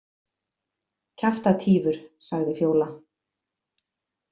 Kjaftatífur, sagði Fjóla.